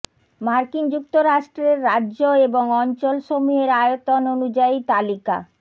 মার্কিন যুক্তরাষ্ট্রের রাজ্য এবং অঞ্চল সমূহের আয়তন অনুযায়ী তালিকা